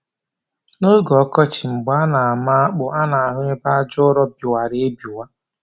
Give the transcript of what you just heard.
N'oge ọkọchị mgbe a na-ama akpụ a na-ahụ ebe aja ụrọ biwara ebiwa